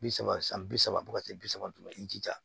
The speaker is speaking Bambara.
Bi saba san bi saba fo ka se bi saba ma i jija